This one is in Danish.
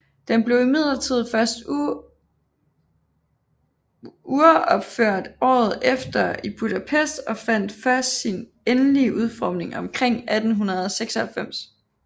Den blev imidlertid først uropført året efter i Budapest og fandt først sin endelige udformning omkring 1896